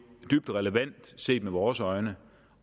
dybt relevant set med vores øjne